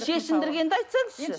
шешіндіргенді айтсаңызшы